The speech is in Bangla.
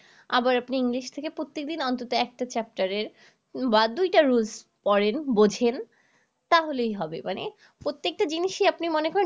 আবার আপনি english থেকে প্রত্যেকদিন অন্তত একটা chapter এর বা দুই টা rules পড়েন বুঝেন তাহলেই হবে মানে প্রত্যেকটা জিনিসই আপনি মনে করেন